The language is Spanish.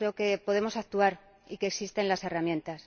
Yo creo que podemos actuar y que existen las herramientas.